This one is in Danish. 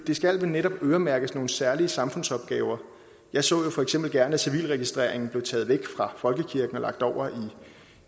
skal vel netop øremærkes nogle særlige samfundsopgaver jeg så jo for eksempel gerne at civilregistreringen blev taget væk fra folkekirken og lagt over